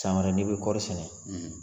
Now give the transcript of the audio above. San wɛrɛ n'i bi kɔri sɛnɛ